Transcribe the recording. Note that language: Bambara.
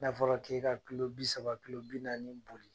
N'a fɔra k'e ka kilo bi saba, kilo bi naani boli,